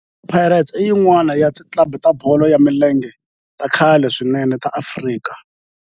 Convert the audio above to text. Orlando Pirates i yin'wana ya ti club ta bolo ya milenge ta khale swinene ta Afrika